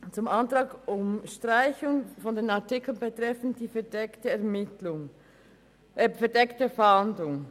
Zum Antrag auf Streichung der Artikel betreffend die verdeckte Fahndung: